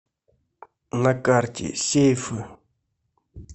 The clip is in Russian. на карте сейфы